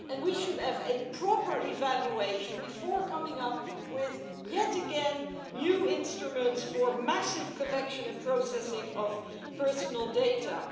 We should have a proper evaluation before coming up with, yet again, new instruments for massive the collection and processing of personal data.